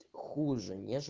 хуже